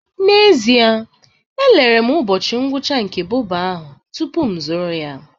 N'ezie, elere m ụbọchị ngwụcha nke bobo ahụ tupu ịzụrụ ya